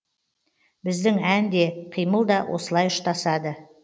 біздің ән де қимыл да осылай ұштасады